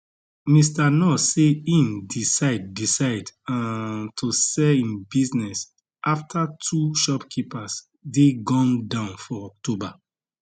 mr nuur say im decide decide um to sell im business afta two shopkeepers dey gunned down for october